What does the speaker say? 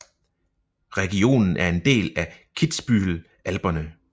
Regionen er en del af Kitzbühel Alperne